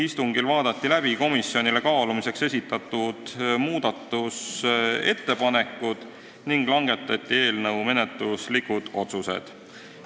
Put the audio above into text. Istungitel vaadati läbi komisjonile kaalumiseks esitatud muudatusettepanekud ning langetati eelnõu menetluslikud otsused.